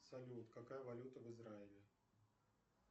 салют какая валюта в израиле